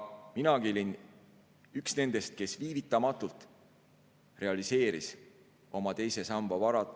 Minagi olin üks nendest, kes viivitamatult realiseeris oma teise samba varad.